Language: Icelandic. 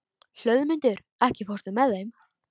Hlöðmundur, ekki fórstu með þeim?